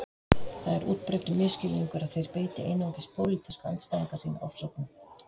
Það er útbreiddur misskilningur að þeir beiti einungis pólitíska andstæðinga sína ofsóknum